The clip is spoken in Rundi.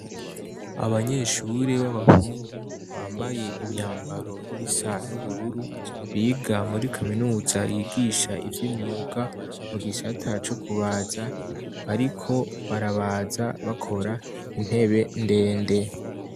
Abanyeshuri b'abahungu bambaye imyambaro isa n'ubururu biga muri kaminuza yigisha ivyo imyuka mu gisha ta co kubaza, ariko barabaza bakora intebe ndende.